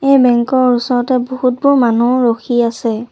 এই বেঙ্ক ৰ ওচৰতে বহুতবোৰ মানুহ ৰখি আছে।